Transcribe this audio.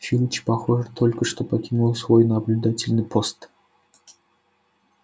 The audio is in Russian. филч похоже только что покинул свой наблюдательный пост